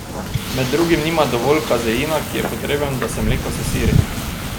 Med drugim nima dovolj kazeina, ki je potreben, da se mleko sesiri.